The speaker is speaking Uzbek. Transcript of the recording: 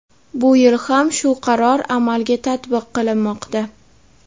Bu yil ham shu qaror amalga tatbiq qilinmoqda.